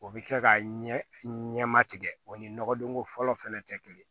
O bɛ kɛ ka ɲɛma tigɛ o ni nɔgɔdonko fɔlɔ fana tɛ kelen ye